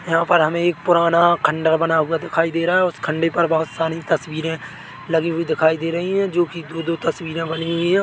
यहाँ पर हमें पुराना खंडर बना हुआ दिखाई दे रहा है उस खंडे पर बहोत सारी तस्वीरें लगी हुई दिखाई दे रही है जो कि दो-दो तस्वीरे बनी हुई है।